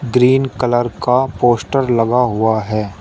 Green colour का poster लगा हुआ है।